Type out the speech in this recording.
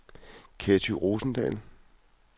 Ketty Rosendahl